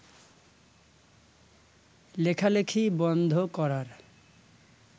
লেখালেখি বন্ধ করার